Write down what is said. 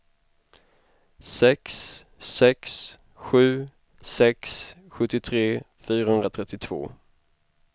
sex sex sju sex sjuttiotre fyrahundratrettiotvå